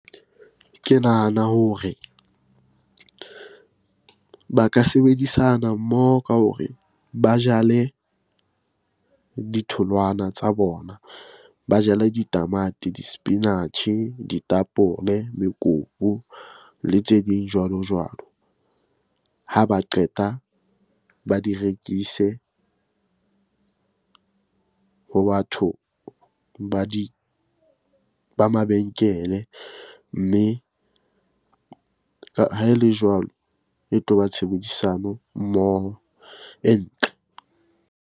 Ke nahana hore ba ka sebedisana mmoho ka hore ba jale ditholwana tsa bona, ba jale ditamati, disepinatjhe, ditapole, mekopu le tse ding jwalo-jwalo. Ha ba qeta ba di rekise ho batho ba di, ba mabenkele. Mme ha e le jwalo e tlo ba tshebedisano mmoho e ntle.